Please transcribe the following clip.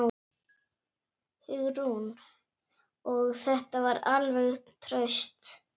Hugrún: Og þetta alveg traust?